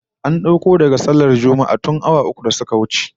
An dauko daga sallar Juma'ah tun awa uku da suka wuce